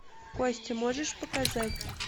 кости можешь показать